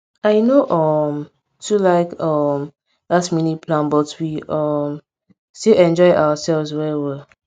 i no um too like um last minute plan but we um still enjoy ourselves well well